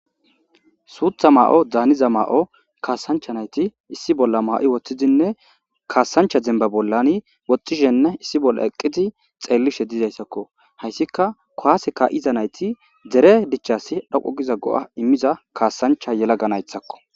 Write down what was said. suutha ma7o daaniza maa7o kaasancha nayti issi bolla ma7i woththidinne kaasancha demba bollani woxxishenne issi bolla eqqidi xeellishe dizayssakko hayssika kowase ka7iza nayti dere dichasi dhoqo giza go7a immiza kaasancha yelaganaythakko